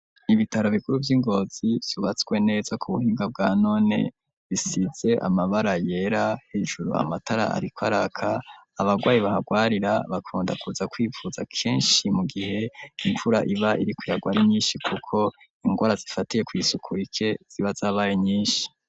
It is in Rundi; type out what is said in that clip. Ibitaro bikuru vy'ingozi vyubatswe neza ku buhinga bwa none, bisize amabara yera, hejuru amatara ariko araka, abagwayi bahagwarira bakunda kuza kwivuza kenshi mu gihe imvura iba iriko iragwa ari nyinshi kuko ingwara zifatiye kw'isuku rike ziba zabaye nyinshi.